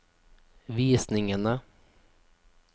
visningene